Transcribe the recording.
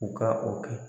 U ka o kɛ